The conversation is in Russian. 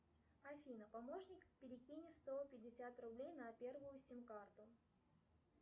афина помощник перекинь сто пятьдесят рублей на первую сим карту